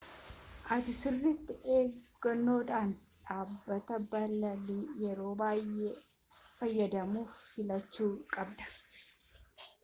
ati sirriiiti eeggannodhaan dhaabbataa balalii yeroo baay'ee fayyadamtu filachuu qabda